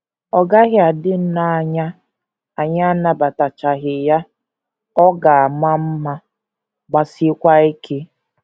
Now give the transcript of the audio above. Ọ gaghị adị nnọọ anya anyị anabataghachi ya ọ ga - ama mma, gbasiekwa ike! ”